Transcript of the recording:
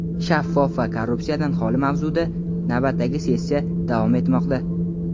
shaffof va korrupsiyadan xoli mavzuida navbatdagi sessiyasi davom etmoqda.